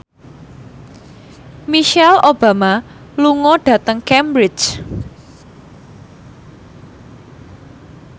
Michelle Obama lunga dhateng Cambridge